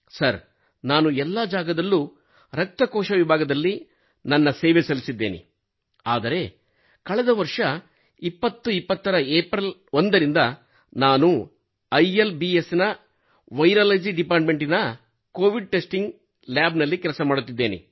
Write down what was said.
sir ನಾನು ಎಲ್ಲಾ ಜಾಗದಲ್ಲೂ ರಕ್ತಕೋಶ ವಿಭಾಗದಲ್ಲಿ ನನ್ನ ಸೇವೆ ಸಲ್ಲಿಸಿದ್ದೇನೆ ಆದರೆ ಕಳೆದ ವರ್ಷ 2020 ರ ಏಪ್ರಿಲ್ 1 ರಿಂದ ನಾನು ಇಲ್ಬ್ಸ್ ವೈರಾಲಜಿ ಡಿಪಾರ್ಟ್ಮೆಂಟ್ ಆಧರಿತ ಕೋವಿಡ್ ಟೆಸ್ಟಿಂಗ್ ಲ್ಯಾಬ್ ನಲ್ಲಿ ಕೆಲಸ ಮಾಡುತ್ತಿದ್ದೇನೆ